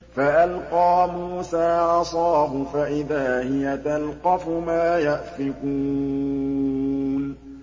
فَأَلْقَىٰ مُوسَىٰ عَصَاهُ فَإِذَا هِيَ تَلْقَفُ مَا يَأْفِكُونَ